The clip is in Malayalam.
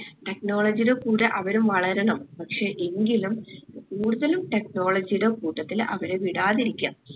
technology ടെ കൂടെ അവരും വളരണം പക്ഷെ എങ്കിലും കൂടുതലും technology ടെ കൂട്ടത്തിൽ അവരെ വിടാതിരിക്കാം